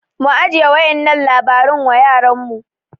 mu ajiye wa'yannan labaran wa yaranmu